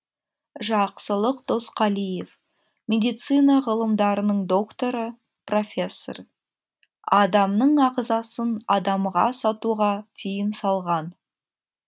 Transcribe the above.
жақсылық досқалиев медицина ғылымдарының докторы профессор адамның ағзасын адамға сатуға тиым салған